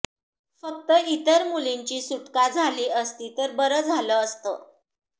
फक्त इतर मुलींची सुटका झाली असती तर बरं झालं असतं